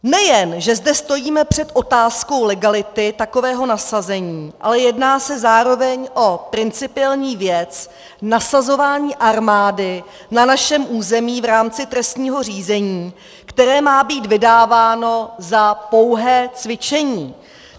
Nejen že zde stojíme před otázkou legality takového nasazení, ale jedná se zároveň o principiální věc nasazování armády na našem území v rámci trestního řízení, které má být vydáváno za pouhé cvičení.